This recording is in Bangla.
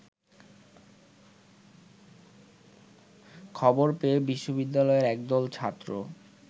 খবর পেয়ে বিশ্ববিদ্যালয়ের একদল ছাত্র